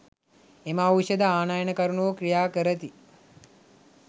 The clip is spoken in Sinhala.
එම ඖෂධ ආනයනකරුවෝ ක්‍රියා කරති.